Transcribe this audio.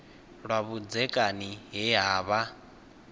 lwa vhudzekani he ha vha